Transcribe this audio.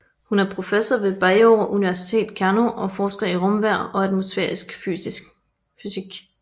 Hun er professor ved Bayero University Kano og forsker i rumvejr og atmosfærisk fysik